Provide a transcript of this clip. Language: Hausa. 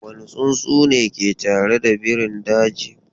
Wane tsuntsu ne ke tare da birin dajin?